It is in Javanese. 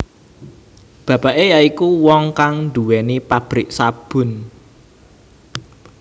Bapake ya iku wong kang duwéni pabrik sabun